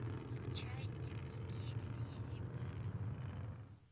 включай дневники лиззи беннет